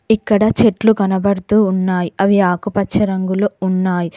ఇక్కడ చెట్లు కనబడుతూ ఉన్నాయి అవి ఆకుపచ్చ రంగులు ఉన్నాయి.